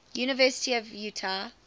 university of utah alumni